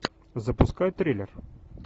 запускай триллер